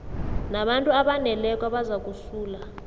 nabantu abaneleko abazakusala